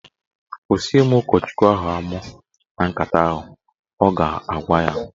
"Kwụsị ịmụ ụkọchukwu amụ na nkata ahụ" Ọ ga-agwa ya.